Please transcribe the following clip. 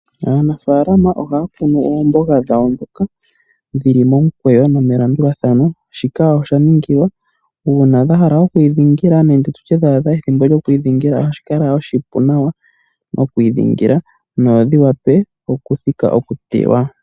Aanafalama ohay kunu oomboga dhawo ndhoka dhili momukwewo nomelandulathano shika osha ningilwa uuna dha hala okwi dhingila nenge tutye dha adha ethimbo lyokwi dhingila ohashi kala oshipu nawa nokwi dhingila nodhi wape oku thika okutewa.